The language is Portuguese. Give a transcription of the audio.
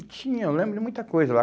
E tinha, eu lembro de muita coisa lá.